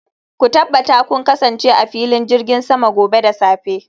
ku tabbata kun kasance a filin jirgin sama gobe da safe